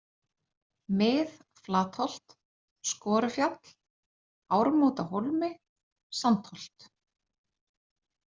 Mið-Flatholt, Skorufjall, Ármótahólmi, Sandholt